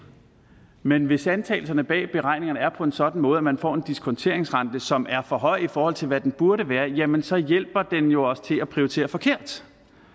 men hvis antagelserne bag beregningerne er på en sådan måde at man får en diskonteringsrente som er for høj i forhold til hvad den burde være jamen så hjælper den jo os til at prioritere forkert